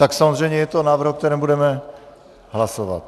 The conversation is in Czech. Tak samozřejmě je to návrh, o kterém budeme hlasovat.